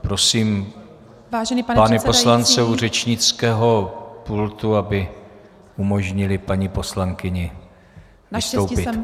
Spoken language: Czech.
Prosím pány poslance u řečnického pultu, aby umožnili paní poslankyni vystoupit.